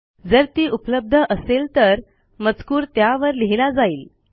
जर ती उपलब्ध असेल तर मजकूर त्यावर लिहिला जाईल